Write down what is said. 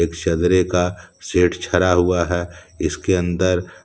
एक शदरे का सेठ छरा हुआ है इसके अंदर।